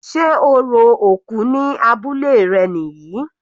Sé orò òkú ní abúlé rẹ̀ níyì?